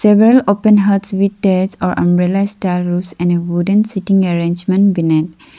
seceral open huts with terus or umbrella star roofs and a wooden sitting arrangement beneath.